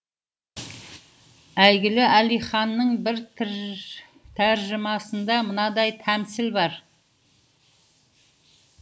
әйгілі әлиханның бір тәржімасында мынадай тәмсіл бар